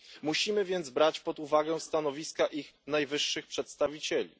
Musimy więc brać pod uwagę stanowiska ich najwyższych przedstawicieli.